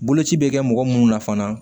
Boloci bɛ kɛ mɔgɔ munnu na fana